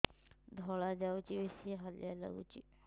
ଧଳା ଯାଉଛି ବେଶି ହାଲିଆ ଲାଗୁଚି